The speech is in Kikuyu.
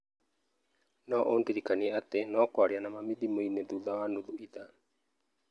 No ũndirikanie atĩ no kwaria na mami thimũ-inĩ thutha wa nuthu ithaa.